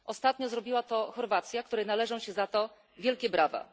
Ostatnio zrobiła to Chorwacja, której należą się za to wielkie brawa.